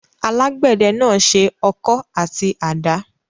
Alágbẹ̀dẹ náà se ọkọ́ àti àdá.